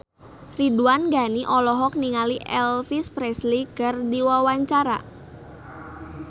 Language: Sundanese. Ridwan Ghani olohok ningali Elvis Presley keur diwawancara